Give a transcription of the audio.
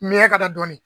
Miyanka dɔɔnin